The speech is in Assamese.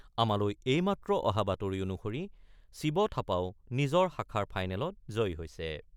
আমালৈ এই মাত্ৰ অহা বাতৰি অনুসৰি শিৱ থাপাও নিজ শাখাৰ ফাইনেলত জয়ী হৈছে।